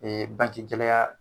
bagi gɛlɛya